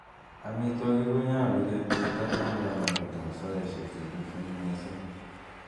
Amitwogik konyolu kepcheita en kamugeet ab saisiek che tuten missing.